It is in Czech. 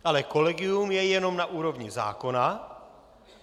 Ale kolegium je jen na úrovni zákona.